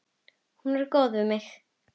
Hún er góð við mig.